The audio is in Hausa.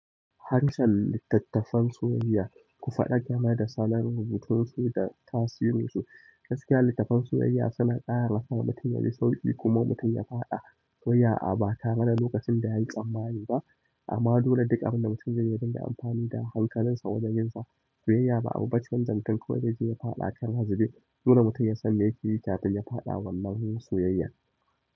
Harshen littattafan soyayya, ku faɗa game da salon rubutunsu da tasirin su. Gaskiya, littafan soyayya suna ƙarasa mutum yaji sauƙi kuma mutum ya faɗa soyayya a ba tare da lokacin da yayi tsammani ba. Amma dole duk abin da mutum zai yarda amfani da hankalinsa wajen yinsa soyayya ba abu bace wanda mutun kawai zai je ya faɗa ƙara zube. Dole mutum ya san me yake yi kafin yafaɗa wannan soyayyar.